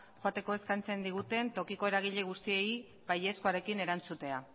joateko eskatzen diguten tokiko eragile guztiei baiezkoarekin erantzutea